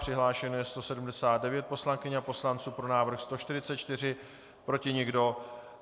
Přihlášeno je 179 poslankyň a poslanců, pro návrh 144, proti nikdo.